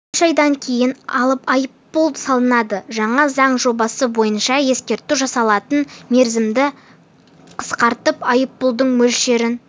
үш айдан кейін айыппұл салынады жаңа заң жобасы бойынша ескерту жасалатын мерзімді қысқартып айппұлдың мөлшерін